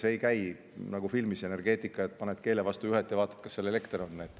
Energeetika puhul ei käi see nagu filmis, et paned keele vastu juhet ja vaatad, kas seal elekter on.